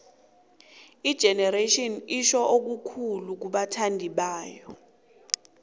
igenerations itjho okukhulu kubathandibayo